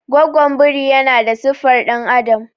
gwagwon biri yana da siffar dan'adam